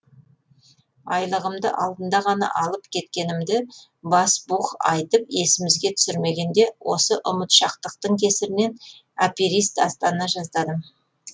айлығымды алдында ғана алып кеткенімді басбух айтып есімізге түсірмегенде осы ұмытшақтықтың кесірінен аперист астана жаздадым